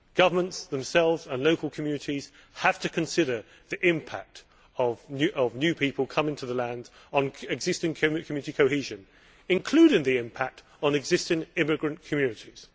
Governments themselves and local communities have to consider the impact of new people coming into the country on existing community cohesion, including the impact on existing immigrant communities.